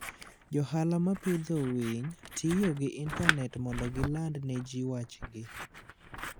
Johala ma pidho winytiyo gi intanet mondo giland ne ji wachgi.